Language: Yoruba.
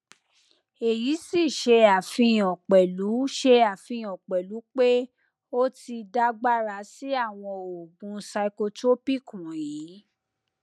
èyí sì ṣe àfihàn pẹlú ṣe àfihàn pẹlú pé o ti dàgbára sí àwọn oògùn psychotropic wọnyí